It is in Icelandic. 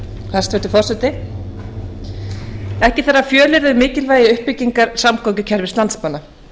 hæstvirtur forseti ekki þarf að fjölyrða um mikilvægi uppbyggingar samgöngukerfis landsmanna